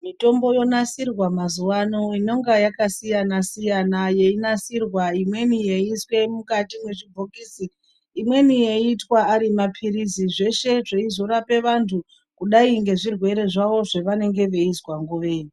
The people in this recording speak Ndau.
Mitombo yonasirwa mazuwa ano inonga yakasiyana siya yeinasirwa imweni yeiiswe mukati mwezvibhokisi. Imweni yeiitwa ari maphirizi. Zveshe zveizorapa vantu kudayi ngezvirwere zvawo zvevanenge veizwa nguveyo.